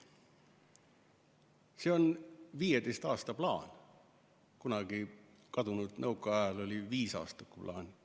See on 15 aasta plaan, kunagisel kadunud nõukaajal oli viisaastakuplaan.